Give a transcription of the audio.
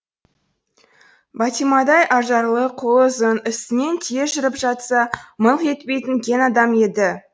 бәтимадай ажарлы қолы ұзын үстінен түйе жүріп жатса мыңқ етпейтін кең адам еді